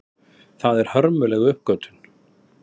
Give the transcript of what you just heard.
Það er hörmuleg uppgötvun.